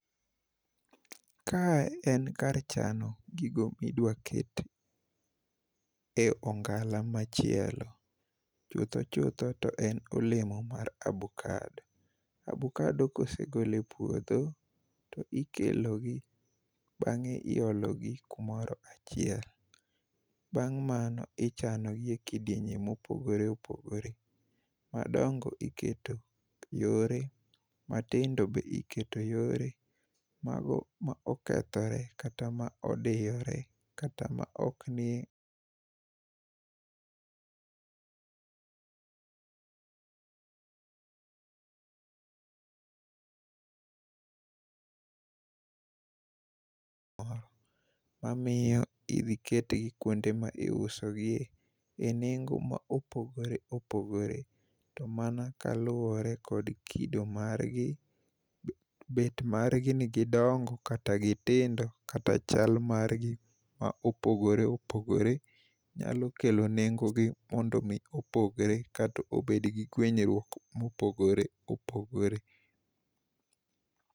Kae en kar chano gigo midwaket e ongala machielo. Chutho chutho to en olemo mar abokado. Abokado kosegol e puodho, to ikelogi bang'e iologi kumoro achiel, bang' mano ichanogi e kidienye mopogore opogore. Madongo iketo yore, matindo be iketo yore. Mago ma okethore kata ma odiyore kata maok niyemamiyo idhi ketgi kuonde ma iusogie e nengo ma opogore opogore to mana kaluwore kod kido marghi, bet margi ni gidongo kata gitindo kata chal margi ma opogore opogore nyalo kelo nengogi mondo omi opogre kata obedgi gwenyruok ma opogore opogore.